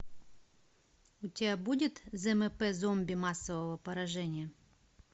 у тебя будет змп зомби массового поражения